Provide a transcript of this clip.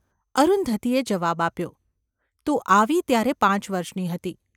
’ અરુંધતીએ જવાબ આપ્યો. ‘તું આવી ત્યારે પાંચ વર્ષની હતી.